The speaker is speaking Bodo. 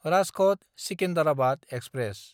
राजखट–सिकिन्डाराबाद एक्सप्रेस